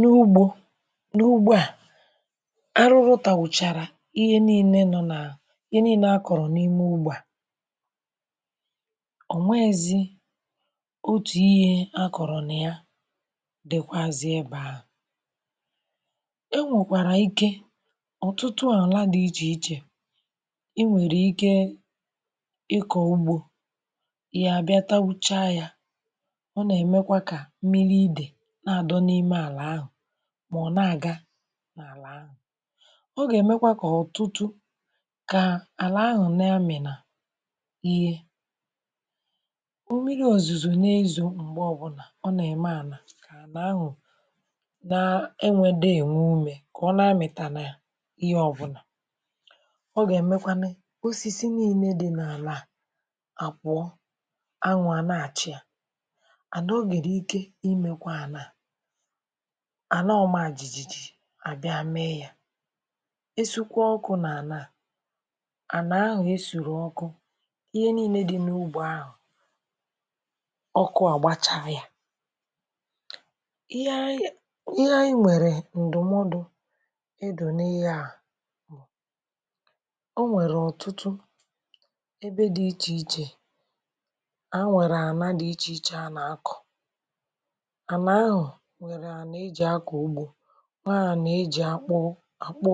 N’ugbo n’ugbo a arụrụ tàgbùchàrà ihe niilē nọ nà ihe niilē akọ̀rọ̀ n’ime ugbō a ò nweèzi otù ihe akọ̀rọ̀ nà ya dikwazi ebē ahụ̀ enwòkwàrà ike ọ̀tụtụ àlà di ichèichè i nwèrè ike ịkọ̀ ugbō ihe à gaa tagbuchaa yā ọ nà-èmekwa kà mmili idè na-àdọ̄ n’ime àlà ahụ̀ mọ̀ na-àga n’àlà ahụ̀ ọ gà-èmekwa kà ọ̀tụtụ kà àlà ahụ̀ nà-amị̀nà ihe mmiri òzùzò na-ezò m̀gbè ọ bụlà ọ nà-ème àlà kà àlà ahụ̀ na-enwēdā ènwe umē kà ọ na-amị̀tànà ihe ọbụ̀la ọ gà-èmekwanụ osisi niilē di n’àlà àpụọ anwụ̄ à na-àchia and o nwèrè ike imēkwā ànà a àlà ọ mā jìjì àbịa mee yā e sukwaa ọkụ̄ n’ànà a ànà ahụ̀ esùrù ọkụ ihe niilē di n’ugbō ahụ̀ ọkụ àgbachaa yā ihe àyị ihe àyị nwèrè ǹdụ̀mọdụ̄ ịdụ̀ n’ihe a bụ̀ o nwèrè ọ̀tụtụ ebe di ichèichè ha nwèrè àlà di ichèichè ha na-akọ̀ àlà ahụ̀ nwèrè àlà e jì akọ̀ ugbō nwèrè àlà e jì àkpụ àkpụ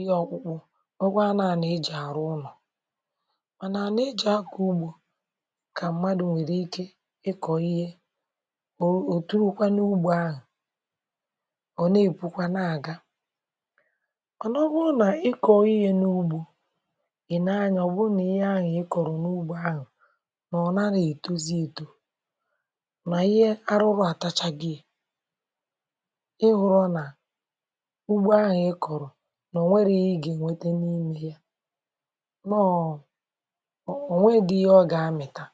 ihe ọkpụ̄kụ̄ nwekwara àlà e jì àrụ ụlọ̀ mànà àlà è ji akọ̀ ugbō kà mmadụ̀ nwèrè ike ịkọ̀ ihe òtowakwa n’ugbō ọ̀ na-èpukwa na-àga mànà ọ bụrụ nà ikọ̀ọ̀ ihe n’ugbō ilee anyā ọ bụrụ nà ihe ahụ̀ ịkọ̀rọ̀ n’ugbō ahụ̀ nà ọ̀ naghị̀ ètozi etō nà ihe arụrụ àtachagiē ị hụ̄rọ̄ nà ugbo ahụ̀ ịkọ̄rọ̄ nà ò nwerọ̀ ihe gà-ènweta n’ime ya nọ̀ ò nweedi ihe ọ̀ ga-amị̀ta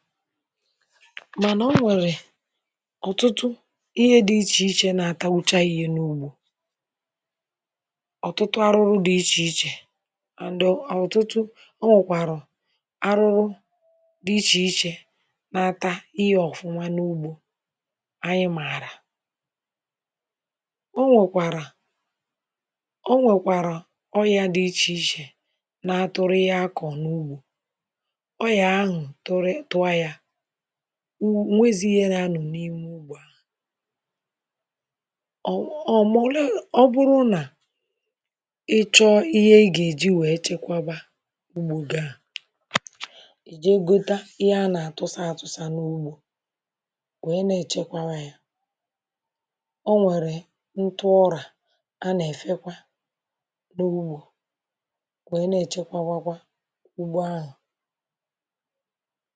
mànà o nwèrè ọ̀tụtụ ihe dì ichèichè nà-àtagbucha ihe n’ugbō ọ̀tụtụ àrụrụ di ichèichè and ọ̀tụtụ o nwekwàrà arụrụ di ichèichè na-ata ihe ọ̀fụma n’ugbō àyị màarà o nwekwàrà o nwèkwàrà ọyà di ichèichè na-atụrụ ihe akọ̀ọ̀ n’ugbō ọyà ahụ̀ tụrị tụọ ya o nweezi ihe na-anọ̀ n’imē ugbō a ọ bụrụ nà ịchọọ ihe i gà-èji wee chekweba ugbō gi a ìje gota ihe a nà-àtụsa atụ̄sā n’ugbō wee na-èchebakwa o nwèrè ntụ urà a nà-èfekwa n’ugbō wee na-èchewakwa ugbō ahụ̀